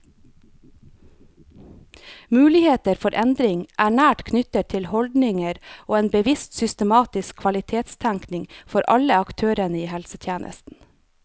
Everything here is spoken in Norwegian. Muligheter for endring er nært knyttet til holdninger og en bevisst og systematisk kvalitetstenkning fra alle aktørene i helsetjenesten.